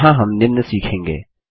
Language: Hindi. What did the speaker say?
यहाँ हम निम्न सीखेंगे